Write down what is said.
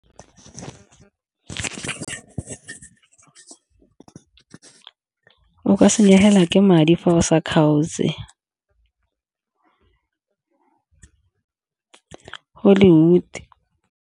O ka senyegelwa ke madi fa o sa kgaotse hollywood.